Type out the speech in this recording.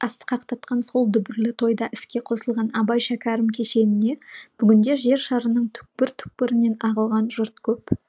асқақтатқан сол дүбірлі тойда іске қосылған абай шәкәрім кешеніне бүгінде жер шарының түкпір түкпірінен ағылған жұрт көп